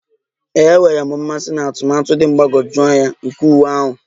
Ee, enwere m mmasị na atụmatụ dị mgbagwoju anya nke uwe ahụ